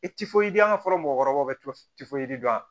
I ti foyi di an ka fɔlɔ mɔgɔkɔrɔbaw bɛ tɛ foyi foyi di yan